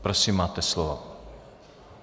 Prosím, máte slovo.